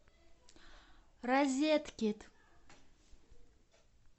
розеткед